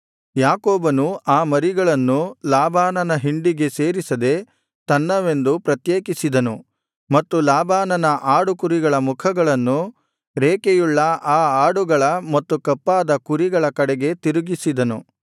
ಯಾಕೋಬನು ಆ ಮರಿಗಳನ್ನು ಲಾಬಾನನ ಹಿಂಡಿಗೆ ಸೇರಿಸದೆ ತನ್ನವೆಂದು ಪ್ರತ್ಯೇಕಿಸಿದನು ಮತ್ತು ಲಾಬಾನನ ಆಡು ಕುರಿಗಳ ಮುಖಗಳನ್ನು ರೇಖೆಯುಳ್ಳ ಆ ಆಡುಗಳ ಮತ್ತು ಕಪ್ಪಾದ ಕುರಿಗಳ ಕಡೆಗೆ ತಿರುಗಿಸಿದನು